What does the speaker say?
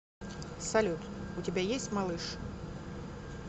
салют у тебя есть малыш